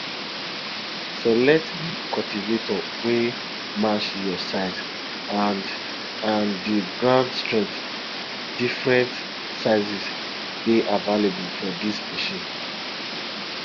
select di cultivator wey match your size and and di ground strength different sizes dey available for dis machine